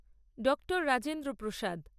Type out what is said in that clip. ডঃ Rajendra প্রসাদ